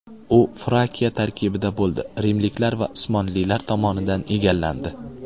U Frakiya tarkibida bo‘ldi, rimliklar va Usmonlilar tomonidan egallandi.